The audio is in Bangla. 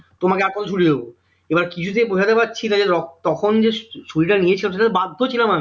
তোমাকে আর কেন ছুটি দেব? এবার কিছুতেই বোঝাতে পারছি না যে তখন যে ছুটিটা নিয়েছি ওটা তো বাধ্য ছিলাম আমি